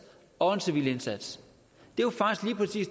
og en civil indsats